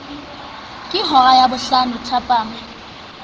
ke hora ya bohlano thapama